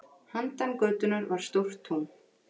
Handan götunnar var stórt tún.